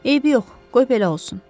Eybi yox, qoy belə olsun.